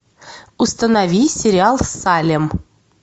установи сериал салем